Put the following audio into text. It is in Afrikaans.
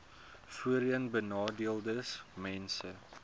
voorheenbenadeeldesmense